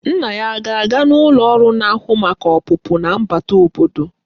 Nna ya a ga-aga n'ụlọ ọrụ na-ahụ maka ọpụpụ na mbata obodo?